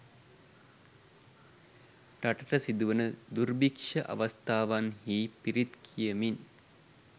රටට සිදුවන දුර්භික්ෂ අවස්ථාවන් හි පිරිත් කියමින්